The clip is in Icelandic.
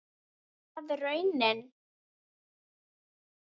Er það raunin?